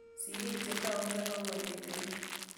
Sirik che taukei ako netikei